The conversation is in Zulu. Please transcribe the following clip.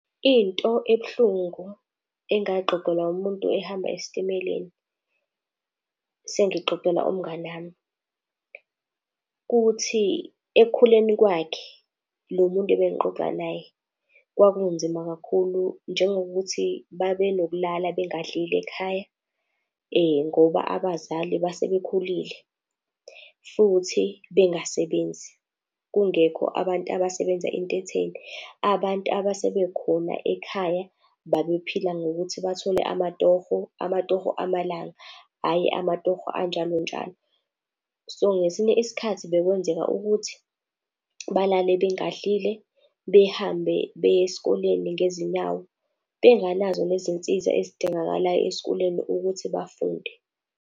Into ebuhlungu engayixoxelwa umuntu ehamba esitimeleni, sengixoxela umnganami. Kuthi ekukhuleni kwakhe lo muntu ebengiqoxa naye, kwakunzima kakhulu. Njengokuthi babenokulala bengadlile ekhaya, ngoba abazali base bekhulile futhi bengasebenzi, kungekho abantu abasebenza into etheni. Abantu abasebekhona ekhaya babephila ngokuthi bathole amatorho, amatorho amalanga, hhayi amatorho anjalonjalo. So, ngesinye isikhathi bekwenzeka ukuthi balale bengadlile behambe beye esikoleni ngezinyawo, benganazo lezi nsiza ezidingakalayo esikoleni ukuthi bafunde.